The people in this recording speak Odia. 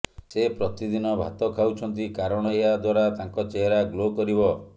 ସେ ପ୍ରତିଦିନ ଭାତ ଖାଉଛନ୍ତି କାରଣ ଏହା ଦ୍ୱାରା ତାଙ୍କ ଚେହେରା ଗ୍ଲୋ କରିବ